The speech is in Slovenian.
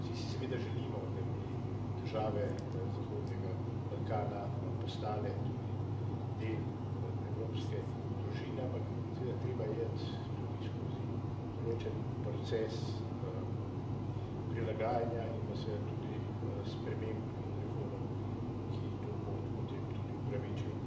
Vsi si seveda želimo, da bi države zahodnega Balkana postale tudi del evropske družine, ampak seveda treba je iti tudi skozi določen proces prilagajanja in pa seveda tudi sprememb in reform, ki to pot potem tudi opravičijo.